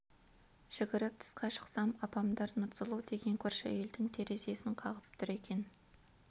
жүгіріп тысқа шықсам апамдар нұрсұлу деген көрші әйелдің терезесін қағып тұр екен